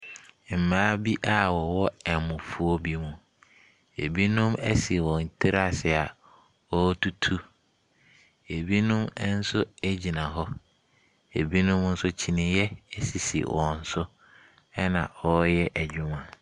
Mmaa bi a wɔwɔ ɛmofuo bi mu. Binom asi wɔn tiri ase a wɔretutu. Binom nso gyina hɔ. Binom nso kyiniiɛ sisi wɔn so, ɛnna wɔreyɛ adwuma.